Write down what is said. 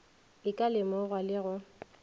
e ka lemogwa le go